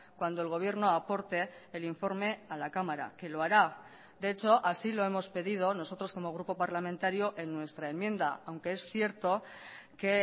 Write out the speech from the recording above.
cuando el gobierno aporte el informe a la cámara que lo hará de hecho así lo hemos pedido nosotros como grupo parlamentario en nuestra enmienda aunque es cierto que